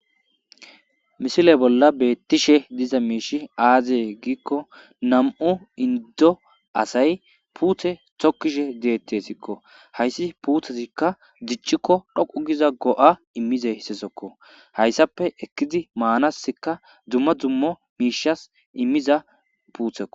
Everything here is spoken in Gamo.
Misile bolla beettishe diza miishi aazee giikko nam7u inddo asay puuthe tokkishe deetesikko. hayssi puuthezikka diccikko dhoqu giza go7a immizayzekko. hayssappe ekkidi maanaska dzumma dzummo miishas immiza puuthekko.